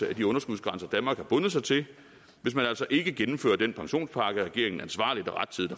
af de underskudsgrænser danmark har bundet sig til hvis man altså ikke gennemfører den pensionspakke regeringen ansvarligt og rettidigt